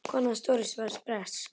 Kona hans Doris var bresk.